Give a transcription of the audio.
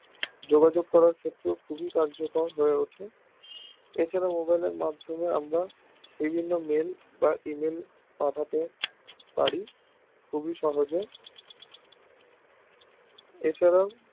যোগাযোগ করার ক্ষেত্রেও খুবই কার্যকর হয় ওঠে এছাড়াও mobile এর মাধ্যমে আমরা বিভিন্ন mail বা email পাঠাতে পারি খুবই সহজে এছাড়াও